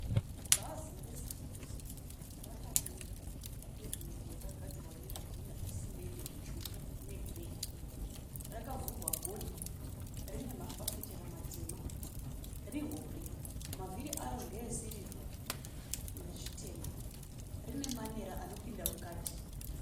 Bhazi reCity to City rakamira papevhimendi yakagadzirwa nezvidhina zvesimende zvitsvuku negireyi. Rakavhurwa gonhi. Rine mafafitera matema. Rihombe. Mavhiri aro ndeesirivha nezvitema. Rine manera anopinda mukati.